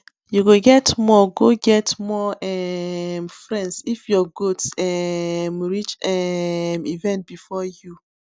you go get more go get more um friends if your goats um reach um event before you